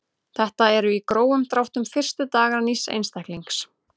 Þetta eru í grófum dráttum fyrstu dagar nýs einstaklings.